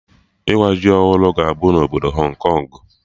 Ịwa ji ọhụrụ ga-abụ na obodo Hong Kong